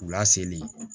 K'u laseli